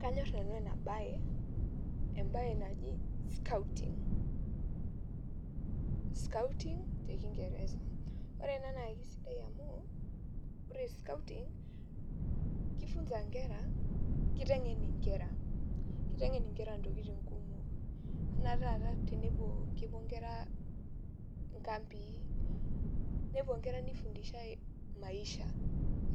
Kanyor nanu ena baye, embaye naji scouting te kingereza ore scouting keifunza ingera keiteng'en inkera keiten'en inkera intokitin kumok ore naa taata tenepuo inkera inkambii nepuo ingera neifundishai